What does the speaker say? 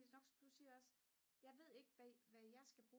nok som du siger også jeg ved ikke hvad jeg skal